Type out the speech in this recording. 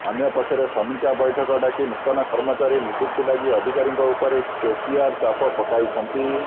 ଅନ୍ୟପକ୍ଷରେ ସମୀକ୍ଷା ବୈଠକ ଡାକି ନୂତନ କର୍ମଚାରୀ ନିଯୁକ୍ତି ଲାଗି ଅଧିକାରୀଙ୍କ ଉପରେ କେସିଆର ଚାପ ପକାଇଛନ୍ତି